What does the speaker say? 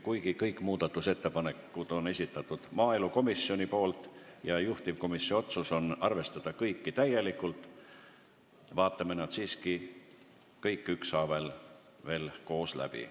Kuigi kõik need on maaelukomisjoni esitatud ja juhtivkomisjoni otsus on arvestada kõiki täielikult, vaatame need siiski veel ükshaaval koos läbi.